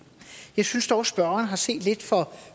jeg synes dog spørgeren har set lidt for